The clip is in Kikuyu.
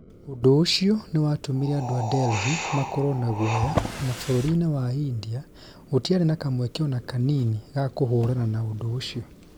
Ũndũ ũcio nĩ watũmire andũ a Delhi makorũo na guoya, na bũrũri-inĩ wa India gũtiarĩ na kamweke ona kanini ga kũhũrana na ũndũ ũcio.